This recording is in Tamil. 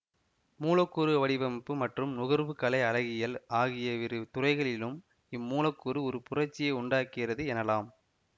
மூலக்கூறு வடிவமைப்பு மற்றும் நுகர்வு கலை அழகியல் ஆகியவிரு துறைகளிலும் இம்மூலக்கூறு ஒரு புரட்சியை உண்டாக்கிறது எனலாம்